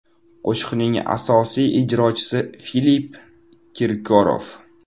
Qo‘shiqning asosiy ijrochisi – Filipp Kirkorov.